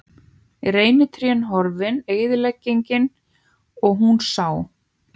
Reynitrén horfin- eyðileggingin- og hún sá.